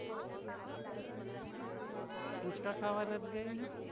પૂચકા ખાવા નથી ગઈ?